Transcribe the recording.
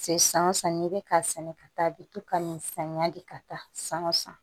Se san o san n'i bɛ k'a sɛnɛ ka taa i bɛ to ka nin samiya de ka taa san o san